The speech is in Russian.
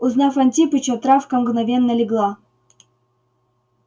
узнав антипыча травка мгновенно легла